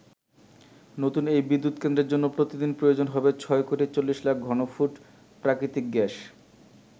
নতুন এই বিদ্যুৎকেন্দ্রের জন্য প্রতিদিন প্রয়োজন হবে ছয় কোটি চল্লিশ লাখ ঘনফুট প্রাকৃতিক গ্যাস।